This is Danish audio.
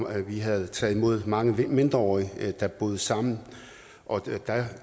at vi havde taget imod mange mindreårige der boede sammen og